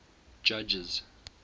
judges